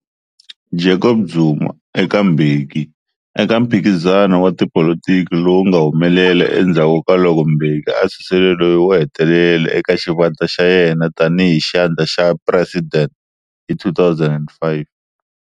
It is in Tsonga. Jacob Zuma eka Mbeki eka mphikizano wa tipolotiki lowu nga humelela endzhaku ka loko Mbeki a susile loyi wo hetelela eka xivandla xa yena tani hi xandla xa president hi 2005.